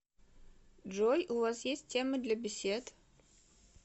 джой у вас есть темы для бесед